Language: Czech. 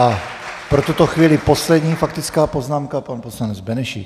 A pro tuto chvíli poslední faktická poznámka - pan poslanec Benešík.